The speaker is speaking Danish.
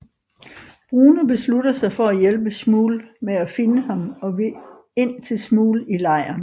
Bruno beslutter sig for at hjælpe Shmuel med at finde ham og vil ind til Shmuel i lejren